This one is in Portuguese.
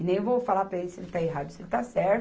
E nem vou falar para ele se ele está errado, se ele está certo,